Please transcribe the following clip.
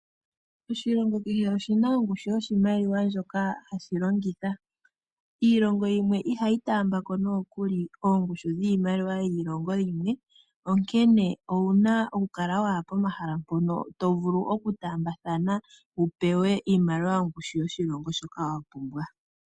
Oshilongo kehe oshina ongushu yoshimaliwa ndjoka hashi longithwa . Iilongo yimwe ohayi taambako oongushu dhiimaliwa yiimaliwa yiilongo yimwe, onkene owuna okukala pomahala mpoka to vulu okutaambathana wupewe iimaliwa yomoshilongo moka.